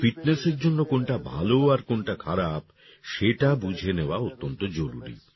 আমাদের ফিটনেসের জন্য কোনটা ভালো আর কোনটা খারাপ সেটা বুঝে নেওয়া অত্যন্ত জরুরি